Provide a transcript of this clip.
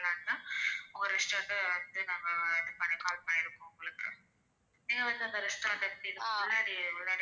நீங்க வந்து எங்க restaurant எப்படி இருக்குன்னு. ,